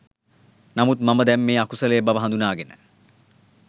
නමුත් මම දැන් මේ අකුසලය බව හඳුනාගෙන